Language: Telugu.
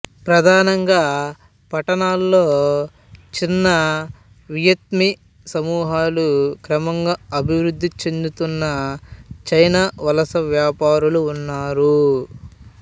ప్రధానంగా పట్టణాలలో చిన్న వియత్నామీ సమూహాలు క్రమంగా అభివృద్ధి చెందుతున్న చైనా వలస వ్యాపారులు ఉన్నారు